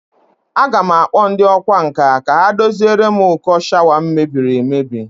A ga m akpo ndi okwa nka ka ha doziere m uko shawa m mebiri emebi